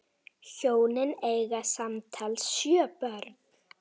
Hjónin eiga samtals sjö börn.